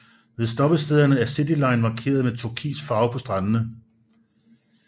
Ved stoppestederne er Cityline markeret med turkis farve på standerne